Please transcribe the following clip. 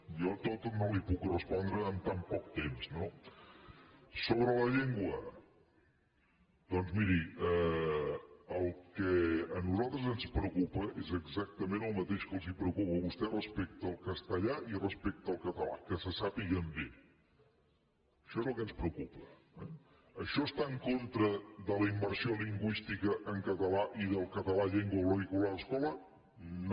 jo tot no li ho puc respondre amb tan poc temps no sobre la llengua doncs miri el que a nosaltres ens preocupa és exactament el mateix que li preocupa a vostè respecte al castellà i respecte al català que se sàpiguen bé això és el que ens preocupa eh això està en contra de la immersió lingüística en català i del català llengua vehicular a l’escola no